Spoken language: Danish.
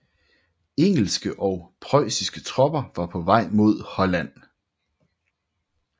Engelske og preussiske tropper var på vej mod Holland